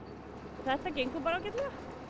þetta gengur bara ágætlega